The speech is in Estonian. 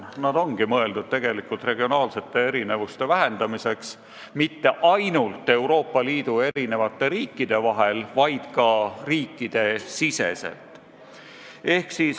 Need ongi mõeldud regionaalsete erinevuste vähendamiseks, ja mitte ainult Euroopa Liidu riikide vahel, vaid ka riikide siseselt.